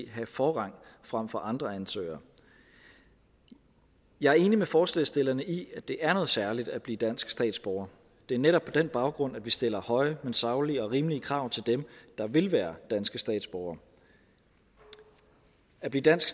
have forrang frem for andre ansøgere jeg er enig med forslagsstillerne i at det er noget særligt at blive dansk statsborger det er netop på den baggrund at vi stiller høje men saglige og rimelige krav til dem der vil være danske statsborgere at blive dansk